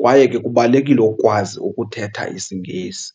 kwaye ke kubalulekile ukwazi ukuthetha isiNgesi.